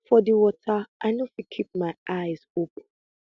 for di water i no fit keep my eyes open